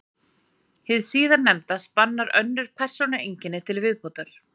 Hið síðarnefnda spannar önnur persónueinkenni til viðbótar.